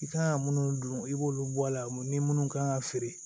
I kan ka munnu dun i b'olu bɔ a la ni minnu kan ka feere